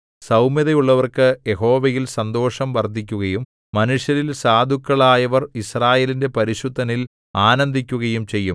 സൗമ്യതയുള്ളവർക്കു യഹോവയിൽ സന്തോഷം വർദ്ധിക്കുകയും മനുഷ്യരിൽ സാധുക്കളായവർ യിസ്രായേലിന്റെ പരിശുദ്ധനിൽ ആനന്ദിക്കുകയും ചെയ്യും